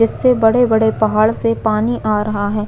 इससे बड़े -- बड़े पहाड़ से पानी आ रहा है।